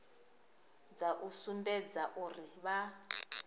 dza u sumbedza uri vha